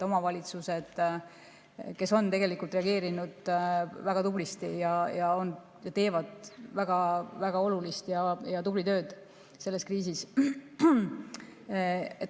Omavalitsused on reageerinud väga tublisti ja teevad väga-väga olulist ja tublit tööd selle kriisi ajal.